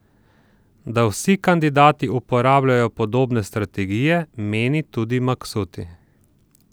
Da vsi kandidati uporabljajo podobne strategije, meni tudi Maksuti.